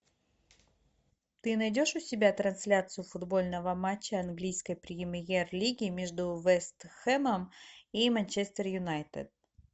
ты найдешь у себя трансляцию футбольного матча английской премьер лиги между вест хэмом и манчестер юнайтед